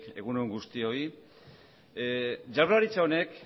egun on guztioi jaurlaritza honek